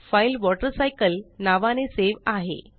file water cycle नावाने save आहे